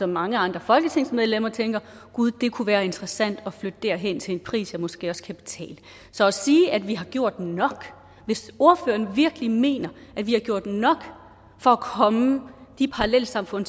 mange andre folketingsmedlemmer tænker gud det kunne være interessant at flytte derhen til en pris jeg måske også kan betale så at sige at vi har gjort nok hvis ordføreren virkelig mener at vi har gjort nok for at komme de parallelsamfund